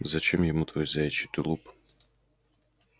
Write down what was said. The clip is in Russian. зачем ему твой заячий тулуп